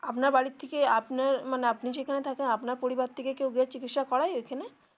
আপনার বাড়ির থেকে আপনার মানে আপনি যেখানে থাকেন আপনার পরিবার থেকে কেউ গিয়ে চিকিৎসা করায় ঐখানে?